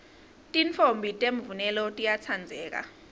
titfombi temvunelo tiyatsandzeka